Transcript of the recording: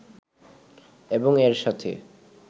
এবং এর সাথে